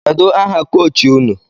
Kedu aha kọchị ụnụ?